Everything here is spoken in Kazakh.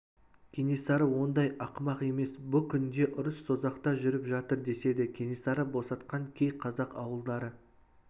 кенесары ондай ақымақ емес бұ күнде ұрыс созақта жүріп жатыр деседі кенесары босатқан кей қазақ ауылдары